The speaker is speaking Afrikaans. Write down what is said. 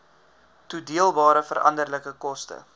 toedeelbare veranderlike koste